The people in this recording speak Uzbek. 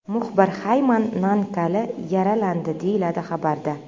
Muxbir Xayman Nankali yaralandi”, deyiladi xabarda.